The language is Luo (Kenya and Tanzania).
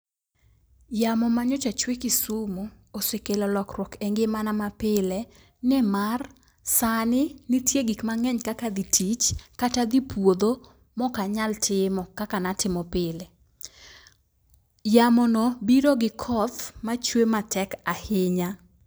Yamo manyiche chwe kisumu osekelo lokwuok e ngimana mapile nimar : sani nitie gik mang'eny kaka dhi tich kata dhi puodho mokanyal timo kaka natimo pile. Yamo no biro gi koth machue matek ahinya.